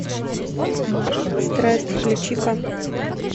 страсть включи ка